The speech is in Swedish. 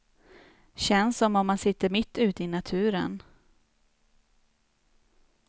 Känns som om man sitter mitt ute i naturen.